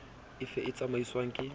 e fe e tsamaiswang ke